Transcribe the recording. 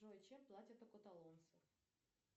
джой чем платят у каталонцев